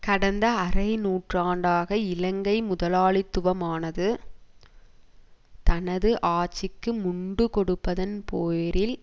கடந்த அரை நூற்றாண்டாக இலங்கை முதலாளித்துவமானது தனது ஆட்சிக்கு முண்டு கொடுப்பதன் பேரில்